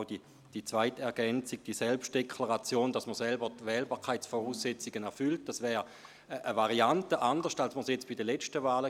Auch die zweite Ergänzung, die Selbstdeklaration, wonach man die Wählbarkeitsvoraussetzungen erfüllt, wäre eine andere Variante gegenüber jener der letzten Wahlen.